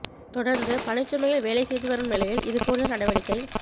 தொடர்ந்து பணிச்சுமையில் வேலை செய்து வரும் நிலையில் இது போன்ற நடவடிக்கை